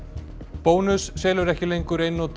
bónus selur ekki lengur einnota